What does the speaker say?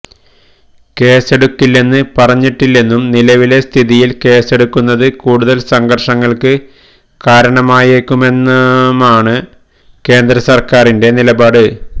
കേസെടുക്കില്ലെന്ന് പറഞ്ഞിട്ടില്ലെന്നും നിലവിലെ സ്ഥിതിയിൽ കേസെടുക്കുന്നത് കൂടുതൽ സംഘർഷങ്ങൾക്ക് കാരണമായേക്കുമെന്നുമാണ് കേന്ദ്ര സർക്കാരിന്റെ നിലപാട്